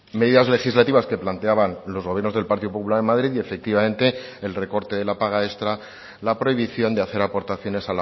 medidas legislativas que planteaban los gobiernos del partido popular en madrid y efectivamente el recorte de la paga extra la prohibición de hacer aportaciones